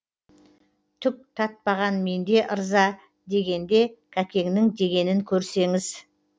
түк татпаған менде ырза дегенде кәкеңнің дегенін көрсеңіз